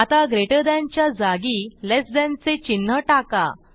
आता greater than च्या जागी लेस थान चे चिन्ह टाका